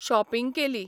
Shopping केली.